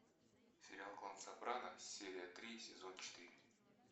сериал клан сопрано серия три сезон четыре